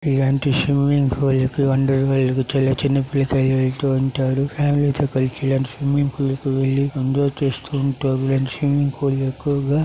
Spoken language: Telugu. ఇలాంటి స్విమ్మింగ్ ఫూల్ కి కి చిన్నపిల్ల కాయలు వెళుతూ ఉంటారు. ఫ్యామిలీ తో కలిసి ఇలాంటి స్విమ్మింగ్ ఫూల్ కి వెళ్లి ఎంజాయ్ చేస్తూ ఉంటారు.